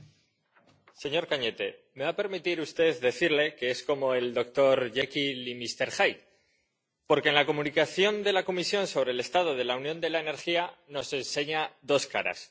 Señor presidente, señor Cañete, me va a permitir usted decirle que es como el doctor Jekyll y Mister Hyde, porque en la Comunicación de la Comisión sobre el estado de la Unión de la Energía nos enseña dos caras.